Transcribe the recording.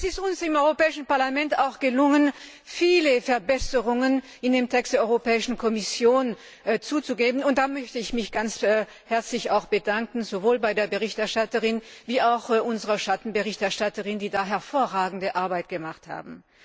Es ist uns im Europäischen Parlament auch gelungen, viele Verbesserungen in den Text der Europäischen Kommission einzufügen. Da bedanke ich mich ganz herzlich sowohl bei der Berichterstatterin wie auch bei unserer Schattenberichterstatterin, die hervorragende Arbeit geleistet haben.